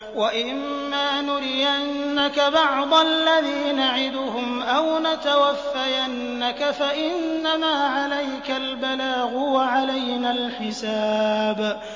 وَإِن مَّا نُرِيَنَّكَ بَعْضَ الَّذِي نَعِدُهُمْ أَوْ نَتَوَفَّيَنَّكَ فَإِنَّمَا عَلَيْكَ الْبَلَاغُ وَعَلَيْنَا الْحِسَابُ